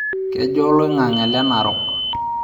kejaa oloingange le narok